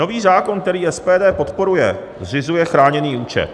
Nový zákon, který SPD podporuje, zřizuje chráněný účet.